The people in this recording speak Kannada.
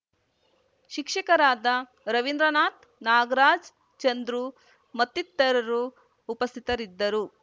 ಶಿಕ್ಷಕರಾದ ರವೀಂದ್ರನಾಥ್ ನಾಗರಾಜ್ ಚಂದ್ರು ಮತ್ತಿತರರು ಉಪಸ್ಥಿತರಿದ್ದರು